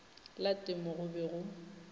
la temo go be go